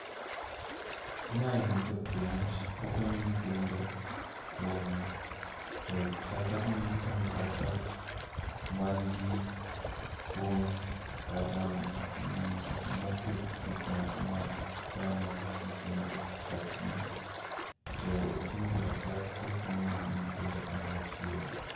Mae en japuonj. Okonyo nyithindo somo, to chal ka gima gisomo karatas mangi puonj kata moket gikmoko ma chano nyithindo e pach gi. to oting'o karatas kosomo gi nyithindo ka moro achiel.